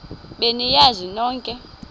be niyazi nonk